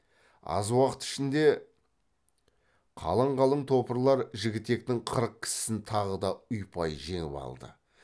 аз уақыт ішінде қалың қалың топырлар жігітектің қырық кісісін тағы да ұйпай жеңіп алды